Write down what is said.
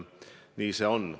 Nii see on.